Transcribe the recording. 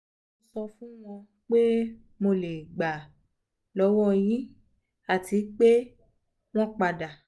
mo so fun won pe mo le gba lowo yi ati ma pe won pada